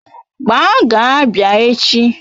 Gbaa gaa Abia echi!